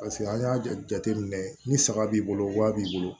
Paseke an y'a jate minɛ ni saga b'i bolo wa b'i bolo